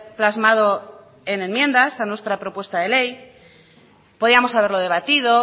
plasmado en enmiendas a nuestra propuesta de ley podíamos haberlo debatido